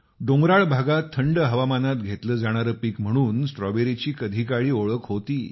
डोंगराळ भागात थंड हवामानात घेतलं जाणारं पीक म्हणून स्ट्रॉबेरीची कधीकाळी ओळख होती